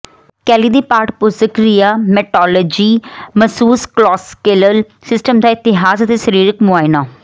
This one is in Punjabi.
ਕੈਲੀ ਦੀ ਪਾਠ ਪੁਸਤਕ ਰੀਯਾਮੈਟੋਲੋਜੀ ਮਸੂਸਕਲੋਸਕੇਲਲ ਸਿਸਟਮ ਦਾ ਇਤਿਹਾਸ ਅਤੇ ਸਰੀਰਕ ਮੁਆਇਨਾ